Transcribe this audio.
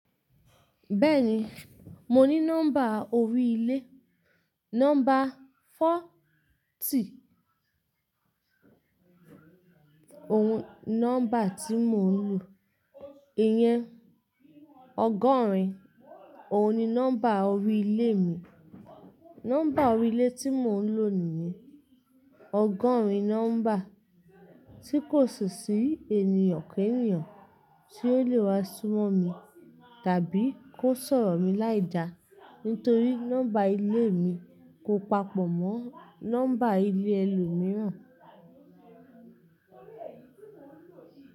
Bẹ́ẹ̀ni, mo ní nọ́mbà orí ilé. Nọ́mbà fọ tì nọ́mbà tí mò ń lò. Iyẹn ọgọ́rin òun ni nọ́mbà orí ilé mi. Nọ́mbà orí ilé tí mò ń lò nìyẹn ọgọ́rin nọ́mbà tí kò sì sí ènìyàn kẹ́ẹ̀níyàn tí ó lè wá súnmọ́ mi tàbí kó sọ̀rọ̀ mi láìda nítorí nọ́mbà ilé mi kó papọ̀ mọ́ nọ́mbà ilé ẹlòmíràn.